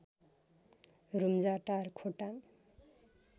Rumjatar Khotang